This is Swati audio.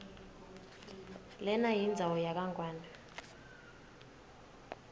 lenayindzawo yakangwane